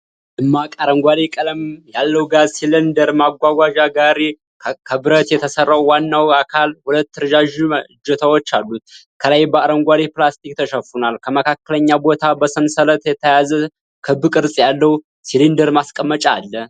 ደማቅ አረንጓዴ ቀለም ያለው ጋዝ ሲሊንደር ማጓጓዣ ጋሪ። ከብረት የተሰራው ዋናው አካል ሁለት ረዣዥም እጀታዎች አሉት፣ ከላይ በአረንጓዴ ፕላስቲክ ተሸፍኗል። ከመካከለኛ ቦታ በሰንሰለት የተያዘ ክብ ቅርጽ ያለው ሲሊንደር ማስቀመጫ አለ።